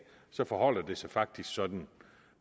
så forholder det sig faktisk sådan